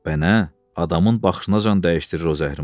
Bə nə, adamın baxışınacan dəyişdirir o zəhrimar.